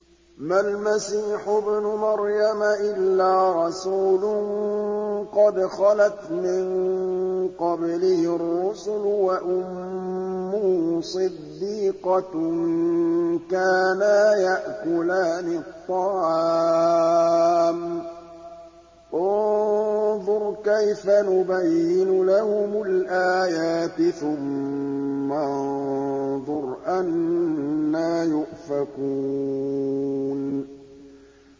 مَّا الْمَسِيحُ ابْنُ مَرْيَمَ إِلَّا رَسُولٌ قَدْ خَلَتْ مِن قَبْلِهِ الرُّسُلُ وَأُمُّهُ صِدِّيقَةٌ ۖ كَانَا يَأْكُلَانِ الطَّعَامَ ۗ انظُرْ كَيْفَ نُبَيِّنُ لَهُمُ الْآيَاتِ ثُمَّ انظُرْ أَنَّىٰ يُؤْفَكُونَ